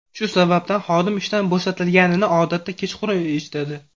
Shu sababdan xodim ishdan bo‘shatilganini odatda kechqurun eshitadi.